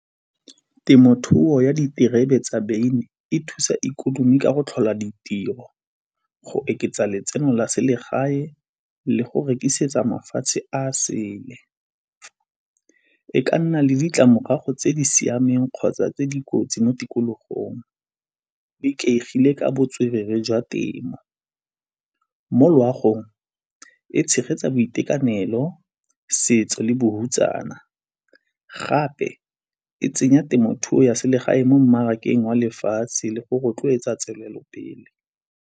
Temothuo ya diterebe tsa beine e thusa ikonomi ka go tlhola ditiro, go oketsa letseno la selegae le go rekisetsa mafatshe a sele. E ka nna le ditlamorago tse di siameng kgotsa tse di kotsi mo tikologong, di ikaegile ka botswerere jwa temo. Mo loagong e tshegetsa boitekanelo, setso le bohutsana, gape e tsenya temothuo ya selegae mo mmarakeng wa lefatshe le go rotloetsa tswelelo pele.